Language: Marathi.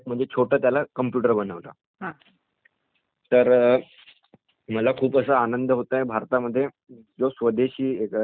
तर...मला खूप असा आनंद होत आहे की भारतामध्ये जो स्वदेशी कम्पुटर तयार करण्यात आला आहे